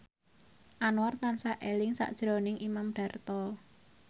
Anwar tansah eling sakjroning Imam Darto